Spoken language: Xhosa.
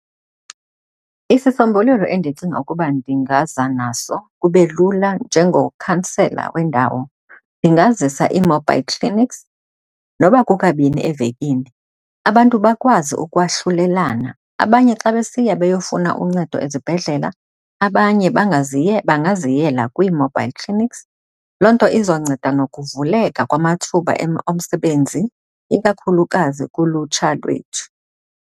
Isisombululo endicinga ukuba ndingaza naso kube lula njengokhansela wendawo, ndingazisa ii-mobile clinics noba kukabini evekini, abantu bakwazi ukwahlulelana. Abanye xa besiya beyofuna uncedo ezibhedlela abanye bangaziyela kwii-mobile clinics. Loo nto izonceda nokuvuleka kwamathuba omsebenzi ikakhulukazi kulutsha lwethu.